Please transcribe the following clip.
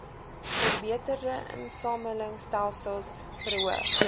verbeterde insamelingstelsels verhoog